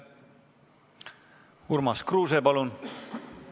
Urmas Kruuse, palun!